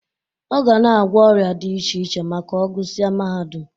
Ọ ga na-agwọ ọrịa dị iche iche ma ọ gụsịa mahadum.